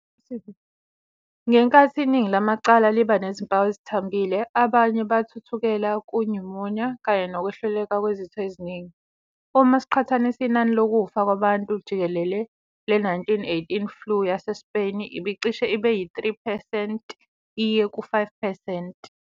Ngenkathi iningi lamacala liba nezimpawu ezithambile, abanye bathuthukela ku- pneumonia kanye nokwehluleka kwezitho eziningi. Uma siqhathanisa inani lokufa kwabantu jikelele le- 1918 Flu yaseSpain ibicishe ibe yi-3 percent iye ku-5 percent.